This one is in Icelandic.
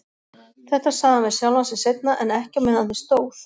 Þetta sagði hann við sjálfan sig seinna, en ekki á meðan á því stóð.